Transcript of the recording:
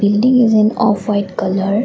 building is in off white colour.